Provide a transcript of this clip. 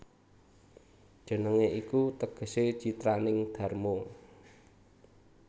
Jenengé iku tegesé citraning dharma